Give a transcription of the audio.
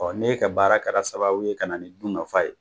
n'e ka baara kɛra sababu ye ka na nin dunkafa ye.